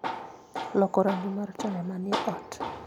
loko rangi mar taya manie ot